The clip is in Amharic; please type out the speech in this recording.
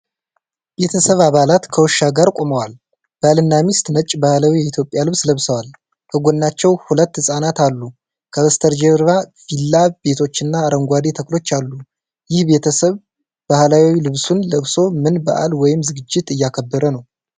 ቤተሰብ አባላት ከውሻ ጋር ቆመዋል። ባልና ሚስት ነጭ ባህላዊ የኢትዮጵያ ልብስ ለብሰዋል። ከጎናቸው ሁለት ህጻናት አሉ። ከበስተጀርባ ቪላ ቤቶችና አረንጓዴ ተክሎች አሉ። ይህ ቤተሰብ ባህላዊ ልብሱን ለብሶ ምን በዓል ወይም ዝግጅት እያከበረ ነው?